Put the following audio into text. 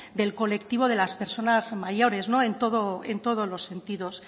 del colectivo de las personas mayores en todos los sentidos